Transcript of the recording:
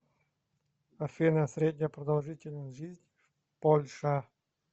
афина средняя продолжительность жизни в польша